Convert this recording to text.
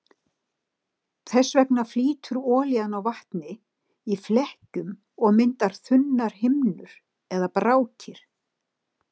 Þess vegna flýtur olían á vatni í flekkjum og myndar þunnar himnur eða brákir.